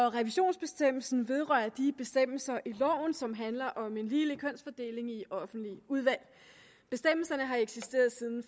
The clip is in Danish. revisionsbestemmelsen vedrører de bestemmelser i loven som handler om en ligelig kønsfordeling i offentlige udvalg bestemmelserne har eksisteret siden